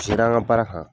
Sira an ka baara kan